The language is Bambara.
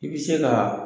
I bɛ se ka